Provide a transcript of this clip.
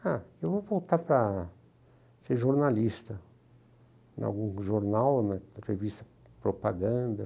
Ah, eu vou voltar para ser jornalista, em algum jornal, né, revista de propaganda.